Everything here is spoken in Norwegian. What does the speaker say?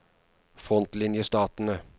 frontlinjestatene